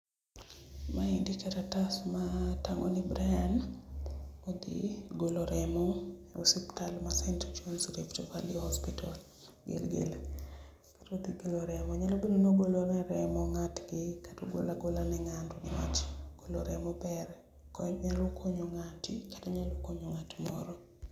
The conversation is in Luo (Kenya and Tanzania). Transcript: Maendi karatas matango ni Brian odhi golo remo e osiptal ma St. Johns Rift Valley Hospital Gilgil. Koro odhi golo remo nyalo bedo ni ogolo remo ne ng'atgi kata ogolo agola ne ng'ato golo remo ber, nyalo konyo ng'ati kata nyalo konyo ng'at moro